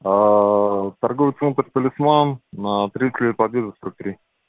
торговый центр талисман на тридцать лет победы сорок три